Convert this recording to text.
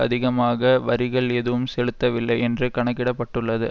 அதிகமாக வரிகள் ஏதும் செலுத்தவில்லை என்று கணக்கிட பட்டுள்ளது